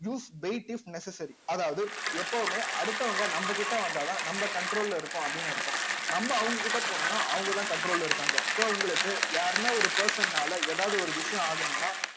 use wait if necessary அதாவது எப்பவுமே அடுத்தவங்க நம்மகிட்ட வந்தாதான் நம்ம control ல இருக்கும் அப்படின்னு அர்த்தம் நம்ம அவங்க கிட்ட போனோம்னா அவங்கதான் control ல இருக்காங்க so உங்களுக்கு யாருன்னா ஒரு person னால ஏதாவது ஒரு விஷயம் ஆகணும்ன்னா